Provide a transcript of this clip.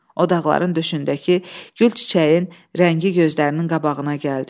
O dağların döşündəki gül çiçəyin rəngi gözlərinin qabağına gəldi.